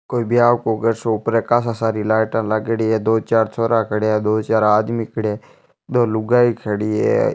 कोई ब्याह को सो घर ऊपर काफी सारी लाइट लागेड़ी है दो चार छोरा खड़े है दो चार आदमी खड़े है दो लुगाई खड़ी है।